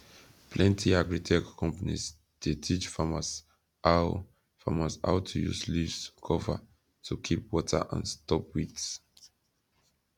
plenty agritech companies dey teach farmers how farmers how to use leaves cover to keep water and stop weeds